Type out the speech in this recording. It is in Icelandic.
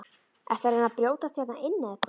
Ertu að reyna að brjótast hérna inn eða hvað!